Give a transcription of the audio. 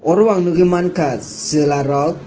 oro ang nugui mankha chwlarok.